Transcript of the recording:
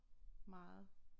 Meget